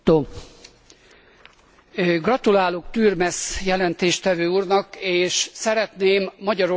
Gratulálok Turmes jelentéstevő úrnak, és szeretném Magyarország példáját megemlíteni.